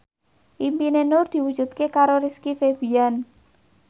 impine Nur diwujudke karo Rizky Febian